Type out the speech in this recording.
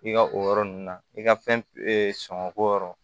I ka o yɔrɔ ninnu na i ka fɛn sɔngɔ ko yɔrɔ